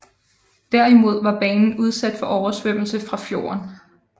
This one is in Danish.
Derimod var banen udsat for oversvømmelse fra fjorden